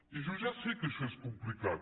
i jo ja sé que això és complicat